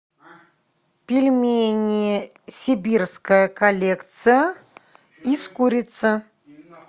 пельмени сибирская коллекция из курицы